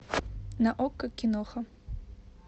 на окко киноха